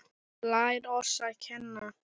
Lær oss að kenna